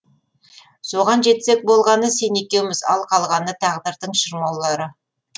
соған жетсек болғаны сен екеуіміз ал қалғаны тағдырдың шырмаулары